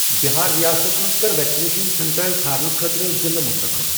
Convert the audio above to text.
بِہار ریاستس مَنٛز کر ویکسِنیشن سینٹر ژھانہٕ خٲطرٕ ضلعہٕ چوٗز۔